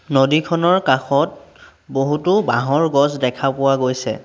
নদীখনৰ কাষত বহুতো বাঁহৰ গছ দেখা পোৱা গৈছে।